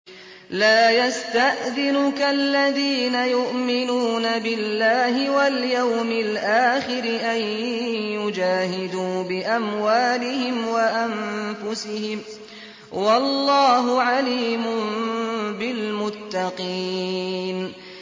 لَا يَسْتَأْذِنُكَ الَّذِينَ يُؤْمِنُونَ بِاللَّهِ وَالْيَوْمِ الْآخِرِ أَن يُجَاهِدُوا بِأَمْوَالِهِمْ وَأَنفُسِهِمْ ۗ وَاللَّهُ عَلِيمٌ بِالْمُتَّقِينَ